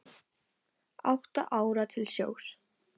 Átta ára til sjós